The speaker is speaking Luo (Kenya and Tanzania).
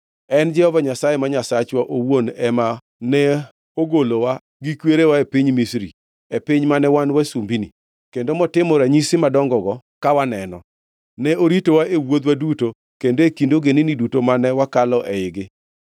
En Jehova Nyasaye ma Nyasachwa owuon mane ogolowa gi kwerewa e piny Misri, e piny mane wan wasumbini, kendo motimo ranyisi madongo-go ka waneno. Ne oritowa e wuodhwa duto kendo e kind ogendini duto mane wakalo eigi.